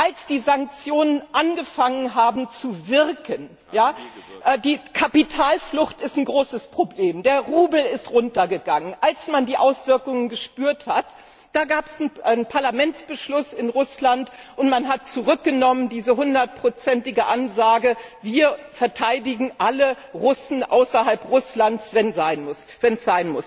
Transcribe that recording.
Als die Sanktionen angefangen haben zu wirken die Kapitalflucht ist ein großes Problem, der Rubel ist runter gegangen als man die Auswirkungen gespürt hat, da gab es einen Parlamentsbeschluss in Russland, und man hat diese 100ige Ansage Wir verteidigen alle Russen außerhalb Russlands, wenn es sein muss, zurückgenommen.